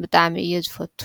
ብጣዕሚ እየ ዝፈቱ።